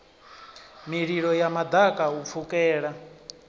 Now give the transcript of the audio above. mililo ya maḓaka u pfukela